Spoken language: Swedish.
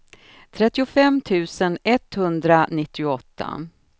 trettiofem tusen etthundranittioåtta